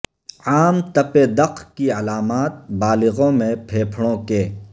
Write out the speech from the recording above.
عام تپ دق کی علامات بالغوں میں پھیپھڑوں کے